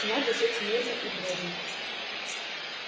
надо жить мирно и дружно